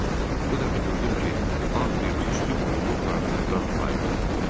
Bu dəfə gördüm ki, ağ bir tüstü burumu paraxotdan ayrıldı.